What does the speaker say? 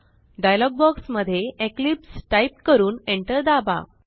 dialogue box मध्ये Eclipse type करून enter दाबा